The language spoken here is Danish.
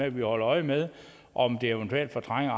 at vi holder øje med om det eventuelt fortrænger